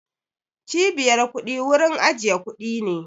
Cibiyar kuɗi wurin ajiye kuɗi ne